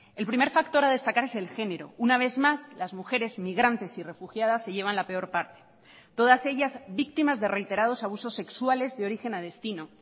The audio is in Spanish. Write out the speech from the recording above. el primer factor a destacar es el género una vez más las mujeres migrantes y refugiadas se llevan la peor parte todas ellas víctimas de reiterados abusos sexuales de origen a destino